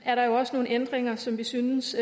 er der også nogle ændringer som vi synes